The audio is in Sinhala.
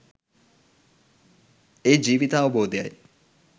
ඒ ජීවිතාවබෝධයයි.